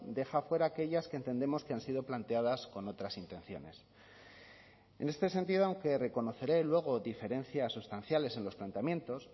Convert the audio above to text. deja fuera a aquellas que entendemos que han sido planteadas con otras intenciones en este sentido aunque reconoceré luego diferencias sustanciales en los planteamientos